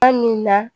Kuma min na